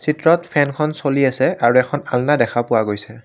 চিত্ৰত ফেনখন চলি আছে আৰু এখন আলনা দেখা পোৱা গৈছে।